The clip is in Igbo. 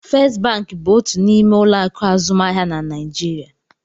First bank bụ otu n'ime ụlọ akụ azụmaahịa na Naịjirịa.